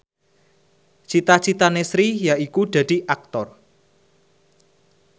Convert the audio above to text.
cita citane Sri yaiku dadi Aktor